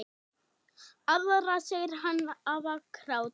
Aðra segir hann hafa grátið.